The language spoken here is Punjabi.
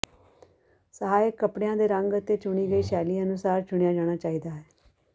ਸਹਾਇਕ ਕਪੜਿਆਂ ਦੇ ਰੰਗ ਅਤੇ ਚੁਣੀ ਗਈ ਸ਼ੈਲੀ ਅਨੁਸਾਰ ਚੁਣਿਆ ਜਾਣਾ ਚਾਹੀਦਾ ਹੈ